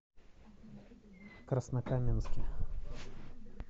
краснокаменске